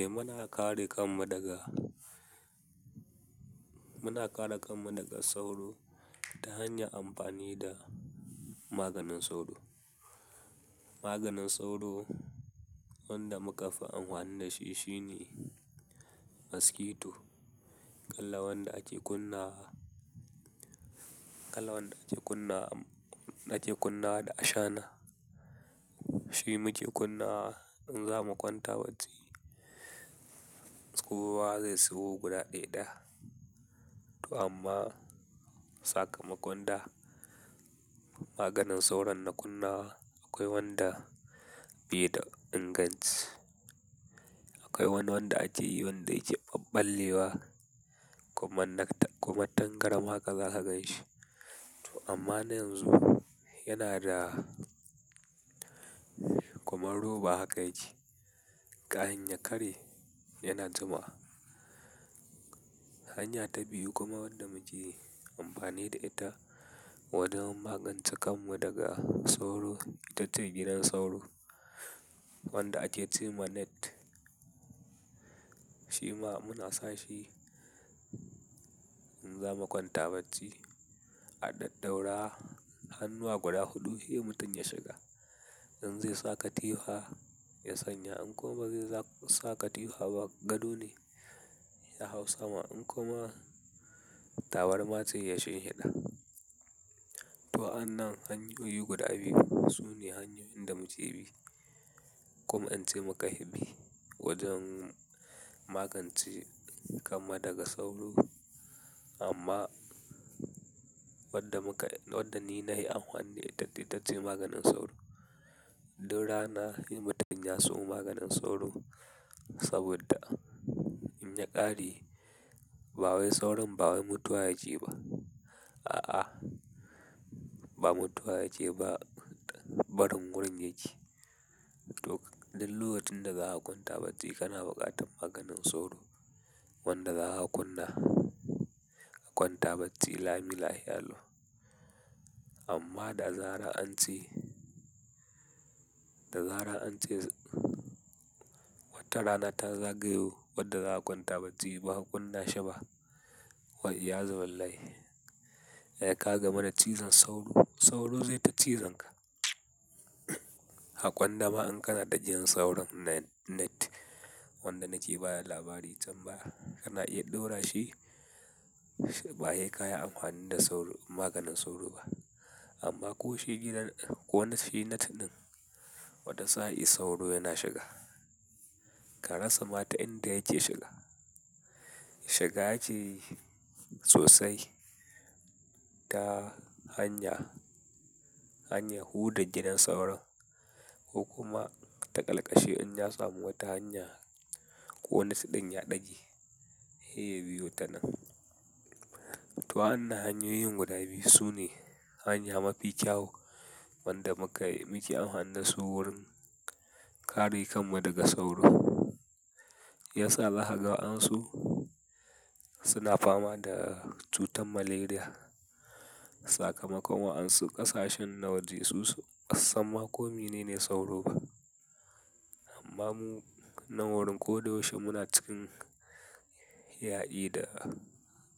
Eh muna kare kanmu daga, muna kare kanmu daga sauro ta hanyar amfani da maganin sauro. Maganin sauro wanda muka fi anhwani da shi shine maskito. Kalan wanda ake kunnawa, kalan wanda ake kunna, ake kunnawa da ashana. Shi muke kunnawa in zamu kwanta bacci, kowa zai siyo guda ɗai ɗaya. To amma sakamakon da maganin sauron na kunna wa akwai wanda bai da inganci. Akwai wani wanda ake yi wanda yake ɓabɓalewa kuma tangaram haka za ka ganshi. To amma yanzu yana da kuma roba haka yake. Kahin ya kare yana zama. Hanya ta biyu kuma wadda muke amfani da ita wajen magance kanmu daga sauro ita ce gidan sauro wanda ake ce mana net. Shi ma muna sa shi in zamu kwanta bacci a ɗaɗaura hannuwa guda huɗu, he mutum ya shiga. In zai sa katihwa ya sanya in kuma bai sa katihwa ba gado ne ya hau sama in kuma tawar matse ya shinhida. To anan hanyoyi guda biyu su ne hanyoyin da muke bi kuma ance muka bi wajen magance kanmu daga sauro. Amma wadda muka, wadda ni nahi anhwani da ita ita ce maganin sauro. Du rana he mutum ya siyo maganin sauro saboda in ya ƙare ba wai sauron ba wai mutuwa yake ba. A'a, ba mutuwa yake ba, barin gurin yake. To duk lokacin da zaka kwanta bacci kana buƙatar maganin sauro wanda zaka kunna a kwanta bacci, lami lahiya lau. Amma da zarar an tsi, da zarar an tsi, wata rana ta zagayo wadda za ka kwanta bacci ba ka kunna shi ba, wa iyazu billahi. Eh ka gamu da cizon sauro, sauro zaita cizan ka. Hakon dama in kana da gidan sauron na net wanda nake baya labari can baya, kana iya ɗaura shi ba yi kaya amfani da sauro, maganin sauro ba. Amma ko shi gidan ko shi net ɗin wata sa'i sauro yana shiga. Ka rasa ma ta inda yake shiga. Shiga yake sosai ta hanya, hanya huda gidan sauron ko kuma ta ƙalƙashi in ya samu wata hanya ko nas ɗin ya ɗage, he ya biyu ta nan. To anan hanyoyin guda biyu su ne hanya mafi kyau wanda muka, muke amfani da su wurin kare kanmu daga sauro. Yasa zakaga waɗansu suna fama da cutar malaria sakamakon waɗansu ƙasashen na waje su san ma komi ne sauro ba. Amma mu nan wurin ko da yaushe muna cikin ya'i da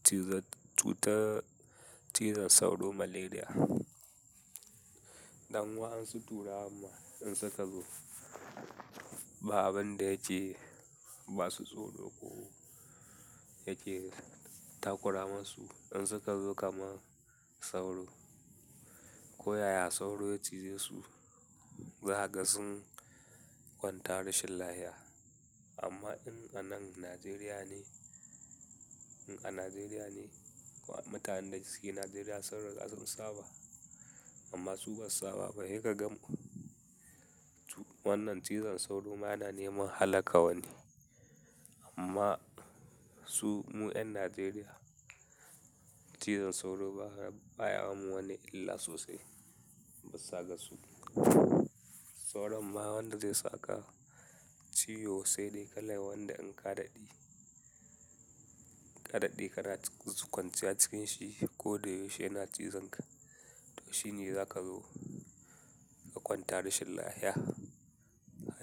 cizon, cutar cizon sauro malaria. Dan waɗansu turawan ma in suka zo ba abin da yake ba su tsoro ko yake takura masu in suka zo kaman sauro. Ko yaya sauro ya cize su, zakaga sun kwanta rashin lahiya. Amma in anan Najeriya ne, in a Najeriya ne ko mutanen da suke Najeriya sun riƙa sun saba amma su basu saba ba, he kagan. Wannan cizon sauro ma yana neman halaka wani. Amma su mu 'yan Najeriya cizon sauro baya wa mu wani illa sosai. Bisa ga su. Sauron ma wanda zai saka ciwo sai dai kala wanda in ka daɗe, ka daɗe kana kwanciya cikin shi ko da yaushe yana cizon ka. To shine za ka zo ka kwanta rashin lahiya.